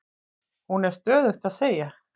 Hún er stöðugt að segja